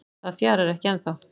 Það fjarar ekki ennþá